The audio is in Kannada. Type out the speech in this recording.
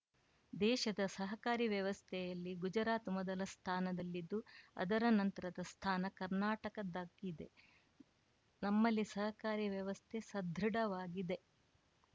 ದೇಶದ ಸಹಕಾರಿ ವ್ಯವಸ್ಥೆಯಲ್ಲಿ ಗುಜರಾತ್‌ ಮೊದಲ ಸ್ಥಾನದಲ್ಲಿದ್ದು ಅದರ ನಂತರದ ಸ್ಥಾನ ಕರ್ನಾಟಕದ್ದಾಗಿದೆ ನಮ್ಮಲ್ಲಿ ಸಹಕಾರಿ ವ್ಯವಸ್ಥೆ ಸದೃಢವಾಗಿದೆ